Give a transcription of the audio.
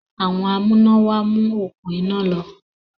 Àwọn amúnáwá mú okún iná lọ